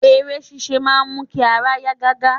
Eré sisé máa n mu ki ara ya gaga